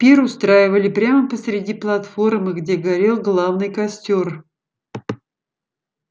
пир устраивали прямо посреди платформы где горел главный костёр